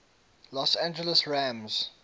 los angeles rams